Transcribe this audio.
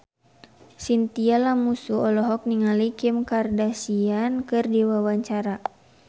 Chintya Lamusu olohok ningali Kim Kardashian keur diwawancara